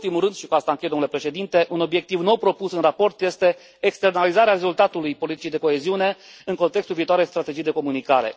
Nu în ultimul rând, și cu asta închei, domnule președinte, un obiectiv nou propus în raport este externalizarea rezultatului politicii de coeziune în contextul viitoarei strategii de comunicare.